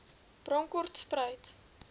bronkhortspruit